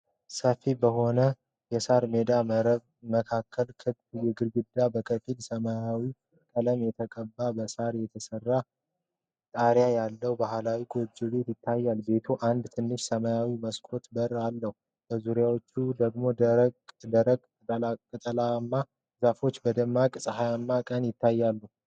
ሰፊ በሆነ የሳር ሜዳ መካከል ክብ፣ ግድግዳው በከፊል ሰማያዊ ቀለም የተቀባና በሳር የተሰራ ጣሪያ ያለው ባህላዊ ጎጆ ቤት ይታያል። ቤቱ አንድ ትንሽ ሰማያዊ መስኮትና በር አለው። በዙሪያው ደግሞ ደረቅ ቅጠላማ ዛፎች በደማቅ ፀሐያማ ቀን ይታያሉ።